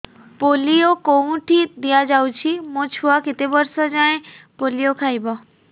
polio କେଉଁଠି ଦିଆଯାଉଛି ମୋ ଛୁଆ କେତେ ବର୍ଷ ଯାଏଁ ପୋଲିଓ ଖାଇବ